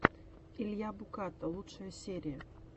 илья буката лучшая серия